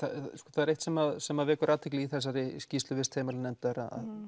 það er eitt sem sem vekur athygli í þessari skýrslu vistheimilanefndar